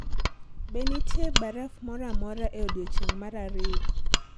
Be nitie baraf moro amora e odiechieng' mar ariyo